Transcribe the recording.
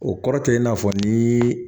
O kɔrɔ tɛ i n'a fɔ ni